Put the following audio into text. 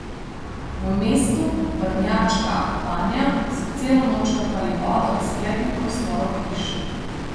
V mestu Vrnjačka Banja so celo noč črpali vodo iz kletnih prostorov hiš.